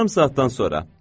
Yarım saatdan sonra.